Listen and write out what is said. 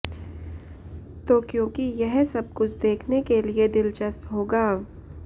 तो क्योंकि यह सब कुछ देखने के लिए दिलचस्प होगा